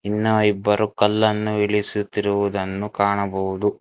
ಇನ್ನ ಇಬ್ಬರು ಕಲ್ಲನ್ನು ಇಳಿಸುತ್ತಿರುವುದನ್ನು ಕಾಣಬಹುದು.